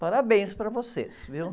Parabéns para vocês, viu?